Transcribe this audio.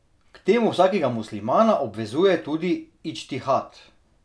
K temu vsakega muslimana obvezuje tudi idžtihad.